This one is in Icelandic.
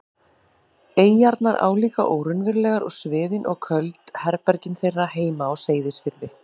eyjarnar álíka óraunverulegar og sviðin og köld herbergin þeirra heima á Seyðisfirði.